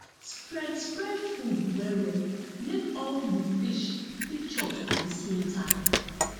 spread spread food well well make all the fish fit chop at the same time